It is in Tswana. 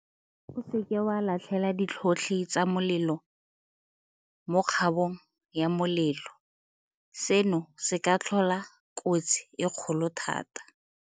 O seke wa latlhela ditlhotlhi tsa molelo mo kgabong ya molelo. Seno se ka tlhola kotsi e kgolo thata.